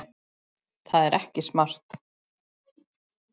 Það er ekki smart.